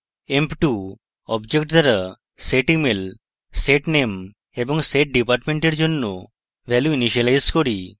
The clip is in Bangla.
emp2 object দ্বারা setemail setname এবং setdepartment এর জন্য ভ্যালু ইনিসিয়েলাইজ করি